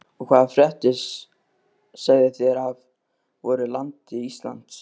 Og hvaða fréttir segið þér af voru landi Íslandi?